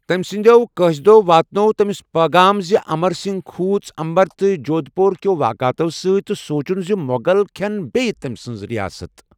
تمہِ سندِیو قٲصِدو٘ واتنوو تمِس پیغام زِ امر سِنگھ كھوُژ امبر تہٕ جودھ پوُر كِیو واقعتو سۭتۍ تہٕ سوُنچُن زِ مو٘غل كھی٘ن بییہ تمہِ سٕنز رِیاست ۔